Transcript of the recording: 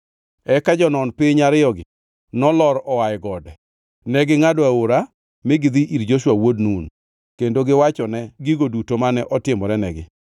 Eka jonon piny ariyogi nolor oa e gode. Negingʼado aora, mi gidhi ir Joshua wuod Nun, kendo giwachone gigo duto mane otimorenigi.